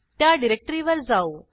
त्या डिरेक्टरीवर जाऊ